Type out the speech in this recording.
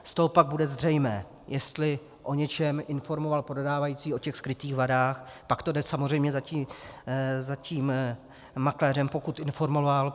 Z toho pak bude zřejmé, jestli o něčem informoval prodávající, o těch skrytých vadách, pak to jde samozřejmě za tím makléřem, pokud informoval.